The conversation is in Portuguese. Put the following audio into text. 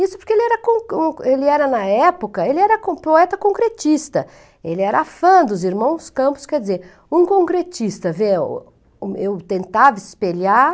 Isso porque ele era, ele era na época, ele era um poeta concretista, ele era fã dos irmãos Campos, quer dizer, um concretista, ver, eu tentava espelhar,